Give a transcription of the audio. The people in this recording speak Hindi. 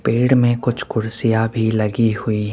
पेड़ में कुछ कुर्सियां भी लगी हुई--